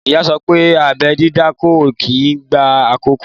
Ìyá sopé abẹ́ dídá kò kí n gba àkókò.